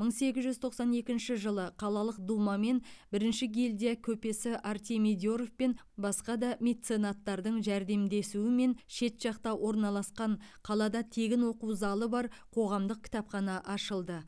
мың сегіз жүз тоқсан екінші жылы қалалық дума мен бірінші гильдия көпесі артемий деров пен басқа да меценаттардың жәрдемдесуімен шет жақта орналасқан қалада тегін оқу залы бар қоғамдық кітапхана ашылды